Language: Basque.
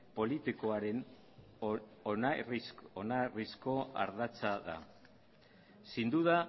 politikoaren oinarrizko ardatza da sin duda